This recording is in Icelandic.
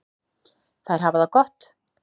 Þær hafa það gott.